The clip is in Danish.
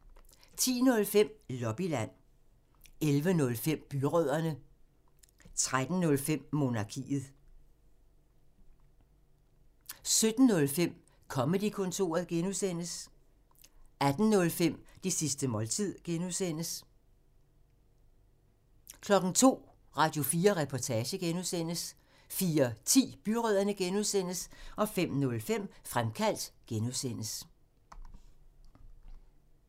10:05: Lobbyland 11:05: Byrødderne 13:05: Monarkiet 17:05: Comedy-kontoret (G) 18:05: Det sidste måltid (G) 02:00: Radio4 Reportage (G) 04:10: Byrødderne (G) 05:05: Fremkaldt (G)